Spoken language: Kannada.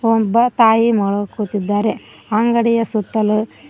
ಒಬ್ಬ ತಾಯಿ ಮಗಳು ಕೂತಿದ್ದಾರೆ ಅಂಗಡಿಯ ಸುತ್ತಲು--